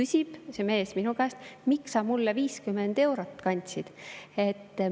Ja see mees küsis minu käest: "Miks sa mulle 50 eurot andsid?